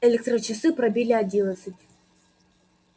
электрочасы пробили одиннадцать